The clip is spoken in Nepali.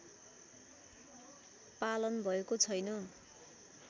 पालन भएको छैन